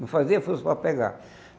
Não fazia força para pegar.